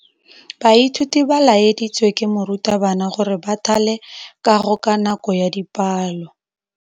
Baithuti ba laeditswe ke morutabana gore ba thale kagô ka nako ya dipalô.